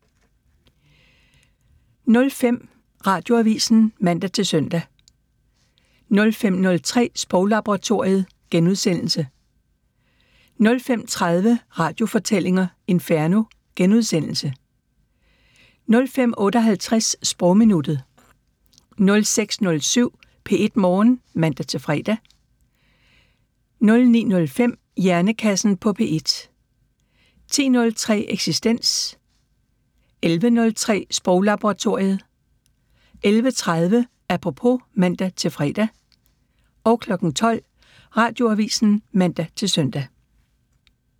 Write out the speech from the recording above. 05:00: Radioavisen (man-søn) 05:03: Sproglaboratoriet * 05:30: Radiofortællinger: Inferno * 05:58: Sprogminuttet 06:07: P1 Morgen (man-fre) 09:05: Hjernekassen på P1 10:03: Eksistens 11:03: Sproglaboratoriet 11:30: Apropos (man-fre) 12:00: Radioavisen (man-søn)